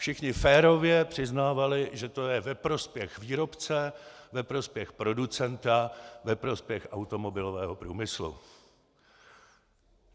Všichni férově přiznávali, že to je ve prospěch výrobce, ve prospěch producenta, ve prospěch automobilového průmyslu.